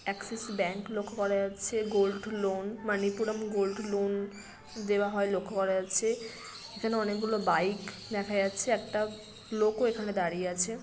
Axis Bank লক্ষ্য করা যাচ্ছে gold loan Manappuram gold loan দেওয়া হয় লক্ষ্য করা যাচ্ছে এখানে অনেক গুলো বাইক দেখা যাচ্ছে একটা লোক ও এখানে দাঁড়িয়ে আছে।